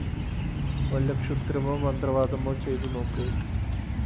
വല്ല ക്ഷുദ്രമോ മന്ത്രവാദമോ ചെയ്തു നോക്ക്